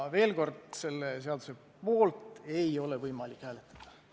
Veel kord, selle seaduse poolt ei ole võimalik hääletada.